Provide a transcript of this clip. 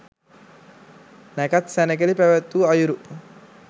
නැකැත් සැණකෙළි පැවැත්වූ අයුරු